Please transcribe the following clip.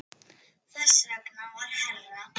Þess vegna var herra